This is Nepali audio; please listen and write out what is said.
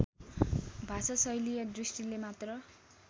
भाषाशैलीय दृष्टिले मात्र